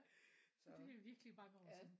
Det er virkelig mange år siden